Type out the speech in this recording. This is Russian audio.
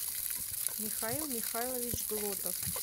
михаил михайлович глотов